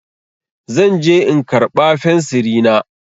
Zan je in karɓa fensiri na.